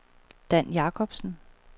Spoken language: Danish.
Dan Jacobsen